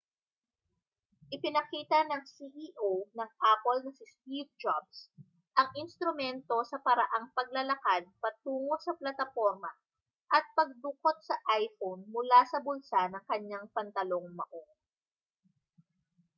ipinakita ng ceo ng apple na si steve jobs ang instrumento sa paraang paglalakad patungo sa plataporma at pagdukot sa iphone mula sa bulsa ng kaniyang pantalong maong